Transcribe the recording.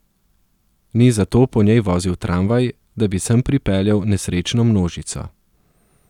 Ni zato po njej vozil tramvaj, da bi sem pripeljal nesrečno množico.